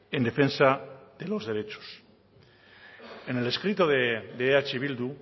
en defensa de los derechos en el escrito de eh bildu